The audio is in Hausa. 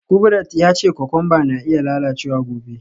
Kubrat ya ce kokwamba na iya lalacewa gobe.